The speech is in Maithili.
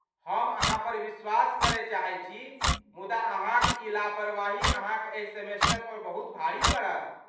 हम अहाँपर विश्वास करय चाहैत छी, मुदा अहाँक ई लापरवाही अहाँक एहि सेमेस्टर पर बहुत भारी पड़त।